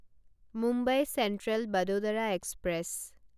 Mumbai central Vadodara express